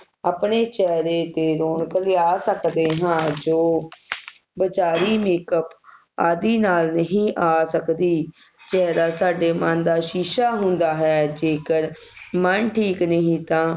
ਆਪਣੇ ਚੇਹਰੇ ਤੇ ਰੌਣਕ ਲਿਆ ਸਕਦੇ ਹਾਂ ਜੋ ਬਾਜਾਰੀ Makeup ਆਦਿ ਨਾਲ ਨਹੀਂ ਆ ਸਕਦੀ ਚੇਹਰਾ ਸਾਡੇ ਮਨ ਦਾ ਸ਼ੀਸ਼ਾ ਹੁੰਦਾ ਹੈ ਜੇਕਰ ਮਨ ਠੀਕ ਨਹੀਂ ਤਾ